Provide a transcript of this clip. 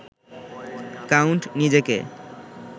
count নিজেকে